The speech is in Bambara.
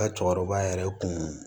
Ka cɛkɔrɔba yɛrɛ kun